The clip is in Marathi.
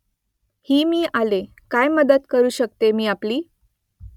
हा मी आलो काय मदत करू शकतो मी आपली ?